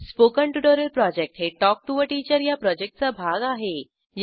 spoken tutorial project हे talk to teacher या प्रॉजेक्टचा भाग आहे